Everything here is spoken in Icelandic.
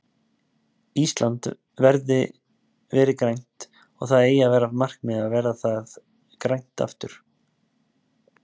Ísland verið grænt og það eigi að vera markmið að gera það grænt aftur.